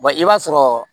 i b'a sɔrɔ